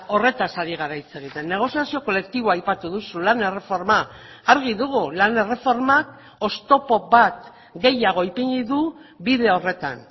horretaz ari gara hitz egiten negoziazio kolektiboa aipatu duzu lan erreforma argi dugu lan erreformak oztopo bat gehiago ipini du bide horretan